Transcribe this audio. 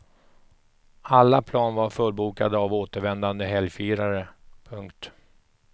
Alla plan var fullbokade av återvändande helgfirare. punkt